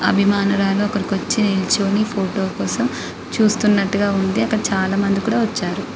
అభిమానురాలు అక్కడి వచ్చి నిలుచొని ఫోటో కోసం చూస్తున్నట్టుగా ఉంది అక్కడ చాల మంది కూడా వచ్చారు.